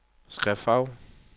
skriftfarve